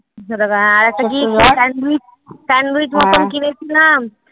একশো টাকা হ্যাঁ আরেকটা কি sandwich sandwich মতন কিনেছিলাম।